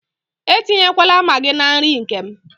Etinyekwala Maagị na nri nke m.